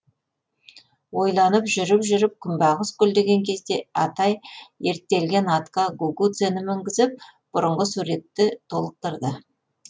ойланып жүріп жүріп күнбағыс гүлдеген кезде атай ерттелген атқа гугуцэні мінгізіп бұрынғы суретті толықтырды